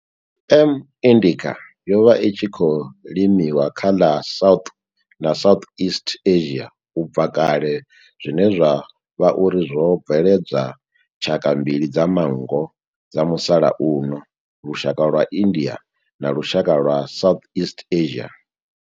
M. indica yo vha i tshi khou limiwa kha ḽa South na Southeast Asia ubva kale zwine zwa vha uri zwo bveledza tshaka mbili dza manngo dza musalauno, lushaka lwa India na lushaka lwa Southeast Asia.